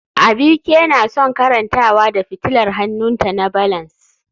Abike na son karantawa da fitilar hannunta na balance